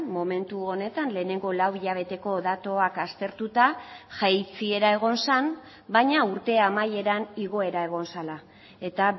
momentu honetan lehenengo lauhilabeteko datuak aztertuta jaitsiera egon zen baina urte amaieran igoera egon zela eta